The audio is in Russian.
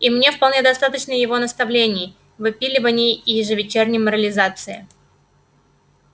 и мне вполне достаточно его наставлений выпиливаний и ежевечерней морализации